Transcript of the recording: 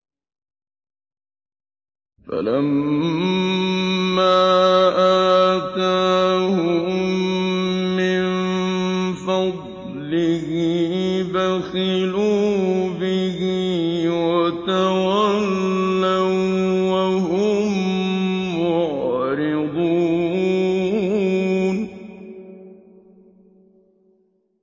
فَلَمَّا آتَاهُم مِّن فَضْلِهِ بَخِلُوا بِهِ وَتَوَلَّوا وَّهُم مُّعْرِضُونَ